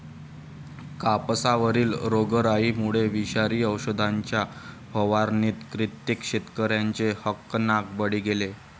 कापसावरील रोगराईमुळे विषारी औषधांच्या फवारणीत कित्येक शेतकऱ्यांचे हकनाक बळी गेले.